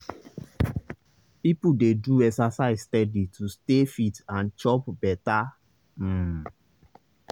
people dey do exercise steady to stay fit and chop better. um